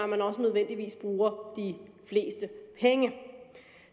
man også nødvendigvis bruger de fleste penge